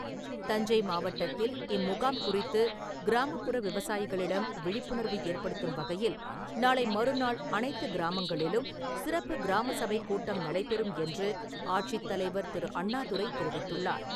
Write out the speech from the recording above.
தஞ்சை மாவட்டத்தில் இம்முகாம் குறித்துக் கிராமப்புற விவசாயிகளிடம் விழிப்புணர்வு ஏற்படுத்தும் வகையில் நாளை மறுநாள் அனைத்துக் கிராமங்களிலும் சிறப்பு கிராமசபைக் கூட்டம் நடைபெறும் என்று, ஆட்சித் தலைவர் திரு. அண்ணாதுரை தெரிவித்துள்ளார்.